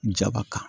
Jaba kan